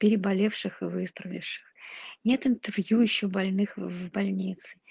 переболевших и выздоровевших нет интервью ещё больных в больнице